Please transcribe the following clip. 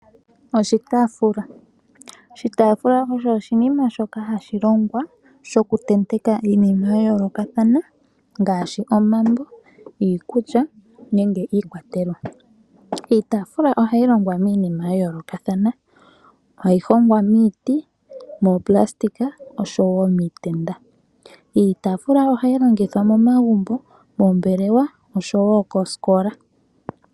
Oshitaafula. Oshitaafula osho oshinima shoka hashi longwa, shoku tenteka iinima ya yoolokathana, ngaashi omambo, iikulya nenge iikwatelwa. Iitafila ohayi longwa miinima ya yoolokathana, hayi hongwa miiti, moopulasitika osho woo miitenda. Iitafula ohayi longithwa momagumbo, moombelewa osho wo koosikola.